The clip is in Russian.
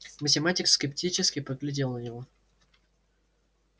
математик скептически поглядел на него